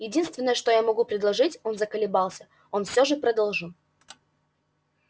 единственное что я могу предположить он заколебался но все же продолжил